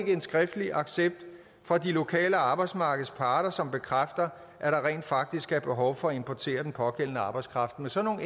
en skriftlig accept fra de lokale arbejdsmarkedsparter som bekræfter at der rent faktisk er behov for at importere den pågældende arbejdskraft med sådan